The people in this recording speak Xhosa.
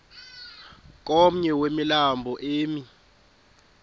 komnye wemilambo emi